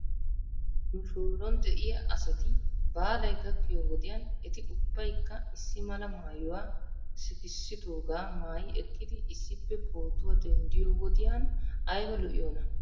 Nu shooron de'iyaa asati baalay gakkiyoo wodiyan eti ubbaykka issi mala maayuwaa sikissidoogaa maayi ekkidi issippe pootuwaa denddiyoo wodiyan ayba lo'iyoonaa?